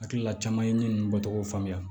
Hakilila caman ye ne nun bɔcogo faamuya